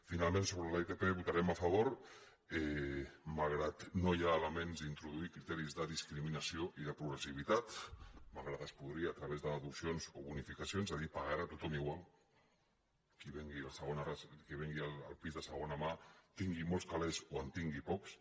finalment sobre l’itp votarem a favor malgrat que no hi ha elements d’introduir criteris de discriminació ni de progressivitat malgrat que es podria a través de deduccions o bonificacions és a dir pagarà tothom igual qui vengui el pis de segona mà tingui molts calés o en tingui pocs